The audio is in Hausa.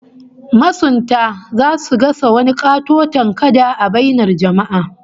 Masunta zasu gasa wani katoton kada a bainar jama'a